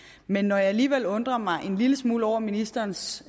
men når jeg alligevel undrer mig en lille smule over ministerens